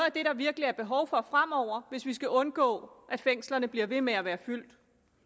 af det der virkelig er behov for fremover hvis vi skal undgå at fængslerne bliver ved med at være fyldt